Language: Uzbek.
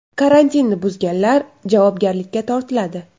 Karantinni buzganlar javobgarlikka tortiladi.